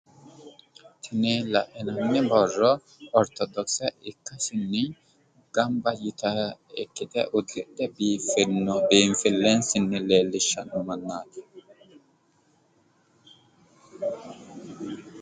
Tini lainanni borro ortodokise ikkasinni gamba yitayi ikkite uddidhe biiffeno biinfillensa leellishshanno mannaati.